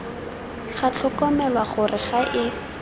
ga tlhokomelwa gore ga e